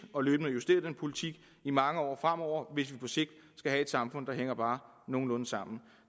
og løbende justere den politik i mange år fremover hvis vi på sigt skal have et samfund der hænger bare nogenlunde sammen